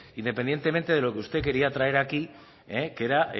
independientemente de lo que usted quería traer aquí que era